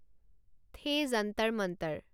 the Jantar Mantar